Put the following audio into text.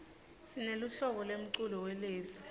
sineluhlobo lemculo welezi